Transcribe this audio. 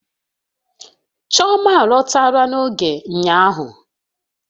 Chioma alọtala na oge ụnyahụ